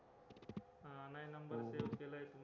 हा नाय number save केलाय मी